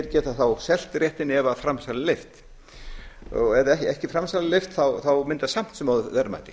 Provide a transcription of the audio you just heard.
geta þá selt réttinn ef framsal er leyft ef framsal er ekki leyft þá myndast samt sem áður verðmæti